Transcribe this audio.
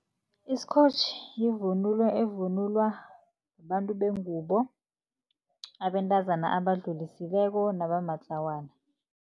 Isikotjhi yivunulo evunulwa babantu bengubo, abantazana abadlulisileko nabamatlawana.